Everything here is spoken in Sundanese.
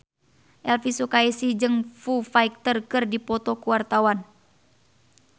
Elvi Sukaesih jeung Foo Fighter keur dipoto ku wartawan